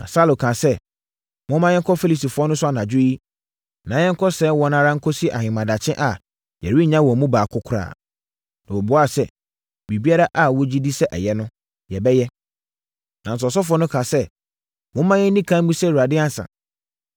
Na Saulo kaa sɛ, “Momma yɛnkɔ Filistifoɔ no so anadwo yi, na yɛnkɔsɛe wɔn ara nkɔsi ahemadakye a yɛrennya wɔn mu baako koraa.” Na wɔbuaa sɛ, “Biribiara a wogye di sɛ ɛyɛ no, yɛbɛyɛ.” Nanso, ɔsɔfoɔ no kaa sɛ, “Momma yɛnni ɛkan mmisa Awurade ansa.”